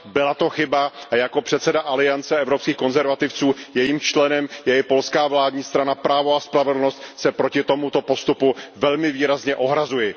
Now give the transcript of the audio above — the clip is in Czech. Byla to chyba a jako předseda Aliance evropských konzervativců, jejímž členem je i polská vládní strana Právo a spravedlnost, se proti tomuto postupu velmi výrazně ohrazuji.